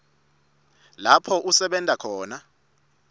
lapho usebenta khona